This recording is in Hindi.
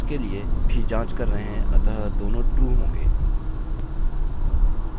और साथ ही हम इसके लिए भी जाँच कर रहे हैं अतः दोनों ट्रू होंगे